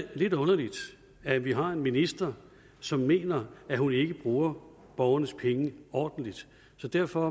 lidt underligt at vi har en minister som mener at hun ikke bruger borgernes penge ordentligt så derfor